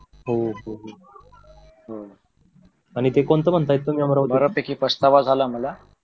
हो हो आणि ते कोणच म्हणतायेत अमरावतीच